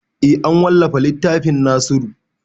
Eh an wallafa littafin nasiru